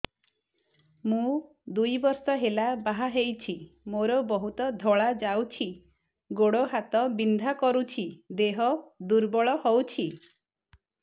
ମୁ ଦୁଇ ବର୍ଷ ହେଲା ବାହା ହେଇଛି ମୋର ବହୁତ ଧଳା ଯାଉଛି ଗୋଡ଼ ହାତ ବିନ୍ଧା କରୁଛି ଦେହ ଦୁର୍ବଳ ହଉଛି